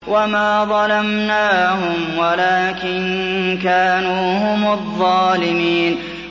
وَمَا ظَلَمْنَاهُمْ وَلَٰكِن كَانُوا هُمُ الظَّالِمِينَ